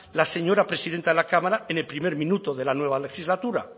la señora presidenta de la cámara en el primer minuto de la nueva legislatura